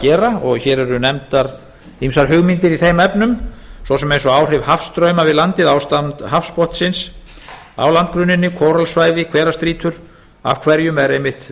gera og hér eru nefndar ýmsar hugmyndir í þeim efnum svo sem eins og áhrif hafstrauma við landið ástand hafsbotnsins á landgrunninu kóralsvæði hverra strýtur af hverjum er einmitt